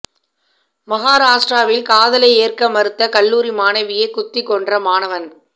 மகாராஷ்டிராவில் காதலை ஏற்க மறுத்த கல்லூரி மாணவியை குத்திக் கொன்ற மாணவன்